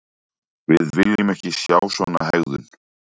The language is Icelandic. Við viljum ekki sjá svona hegðun.